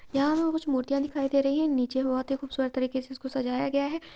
यहां पर हमें कुछ मूर्तियां दिखाई दे रही हैं| नीचे बहुत ही खूबसूरत तरीके से इसको सजाया गया है।